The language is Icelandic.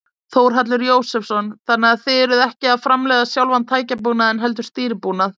Þórhallur Jósefsson: Þannig að þið eruð ekki að framleiða sjálfan tækjabúnaðinn heldur stýribúnað?